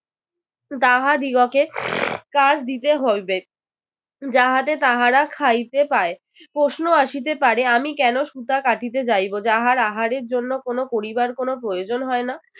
তাহাদিগকে কাজ দিতে হইবে যাহাতে তাহারা খাইতে পায়। প্রশ্ন আসিতে পারে আমি কেন সূতা কাটিতে যাইব যাহার আহারের জন্য কোন পরিবার কোনো প্রয়োজন হয় না।